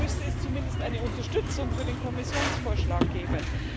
Dann müsste es zumindest eine Unterstützung für den Kommissionsvorschlag geben.